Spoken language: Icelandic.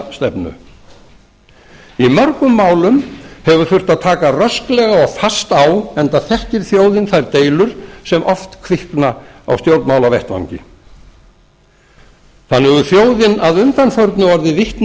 umbótastefnu í mörgum málum hefur þurft að taka rösklega og fast á enda þekkir þjóðin þær deilur sem oft kvikna á stjórnmálavettvangi þannig hefur þjóðin að undanförnu orðið vitni